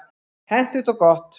Hentugt og gott.